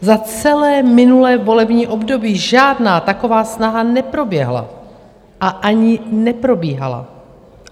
Za celé minulé volební období žádná taková snaha neproběhla a ani neprobíhala.